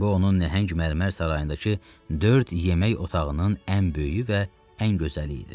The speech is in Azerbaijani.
Bu onun nəhəng mərmər sarayındakı dörd yemək otağının ən böyüyü və ən gözəli idi.